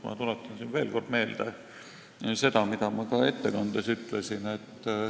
Ma tuletan siin veel kord meelde seda, mis ma ka ettekandes ütlesin.